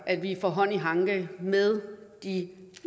at vi får hånd i hanke med de